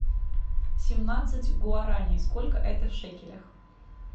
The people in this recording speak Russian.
семнадцать гуараней сколько это в шекелях